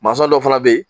Mansa dɔ fana bɛ yen